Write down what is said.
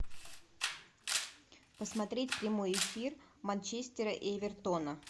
посмотреть прямой эфир манчестера и эвертона